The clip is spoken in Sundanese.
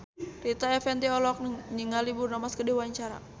Rita Effendy olohok ningali Bruno Mars keur diwawancara